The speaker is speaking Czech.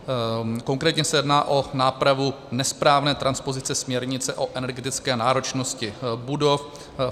Konkrétně se jedná o nápravu nesprávné transpozice směrnice o energetické náročnosti budov.